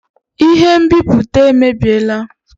Ihe nbipute emebiela